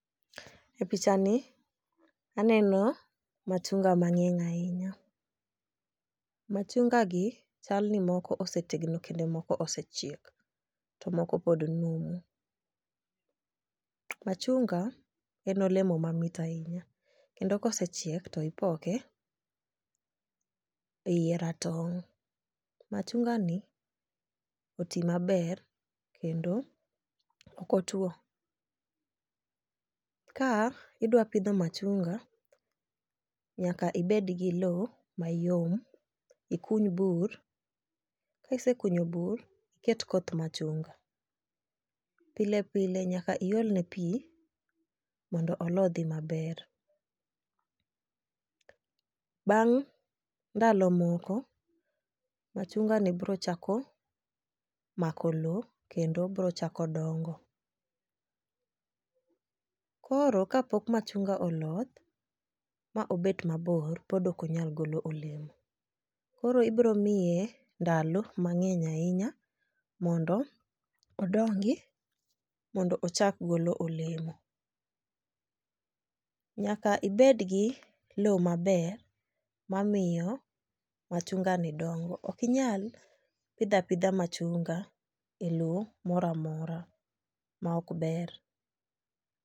E picha ni aneno machunga mang'eny ahinya. Machunga gi chal ni moko osetegno kendo moko osechiek to moko pod numu. Machunga en olemo mamit ahinya kendo kosechiek to ipoke e yie ratong' . Machunga ni oti maber kendo ok otwo . Ka idwa pidho machunga, nyaka ibed gi lowo mayom ikuny bur kisekunyo bur iket koth machunga. Pile pile nyaka iolne pii mondo olodhi maber. Bang' ndalo moko machunga ni bro chako mako lowo kendo bro chako dongo. Koro kapok machunga oloth ma obet mabor, pod ok onyal golo olemo. Koro ibro mine ndalo mang'eny ahinya mondo odongi mondo ochak golo olemo. Nyaka ibed gi lowo maber mamiyo machunga ni dongo. Okinyal pidha pidha machunga e loo moramora mok ber.